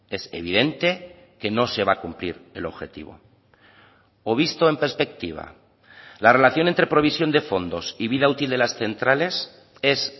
es evidente que no se va a cumplir el objetivo o visto en perspectiva la relación entre provisión de fondos y vida útil de las centrales es